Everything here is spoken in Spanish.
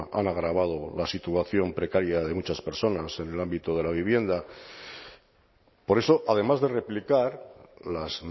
han agravado la situación precaria de muchas personas en el ámbito de la vivienda por eso además de replicar las